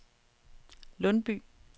Lundby